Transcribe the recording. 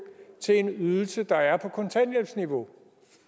til en ydelse der er på kontanthjælpsniveau